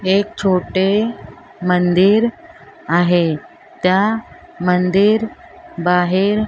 एक छोटे मंदिर आहे त्या मंदिर बाहेर --